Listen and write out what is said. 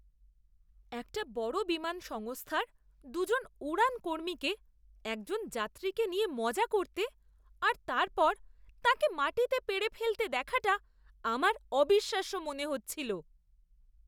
একটা বড় বিমান সংস্থার দু'জন উড়ান কর্মীকে একজন যাত্রীকে নিয়ে মজা করতে আর তারপর তাঁকে মাটিতে পেড়ে ফেলতে দেখাটা আমার অবিশ্বাস্য মনে হচ্ছিল।